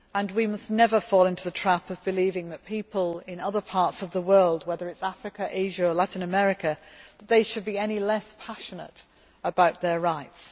We must never fall into the trap of believing that people in other parts of the world whether it is Africa, Asia or Latin America should be any less passionate about their rights.